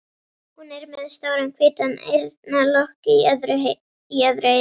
Hún er með stóran hvítan eyrnalokk í öðru eyra.